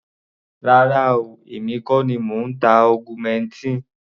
Rárá o, èmi kọ́ ni mò ń ta augmentin.